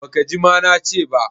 Baka ji ma na ce ba?